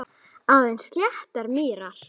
Aðeins sléttar mýrar.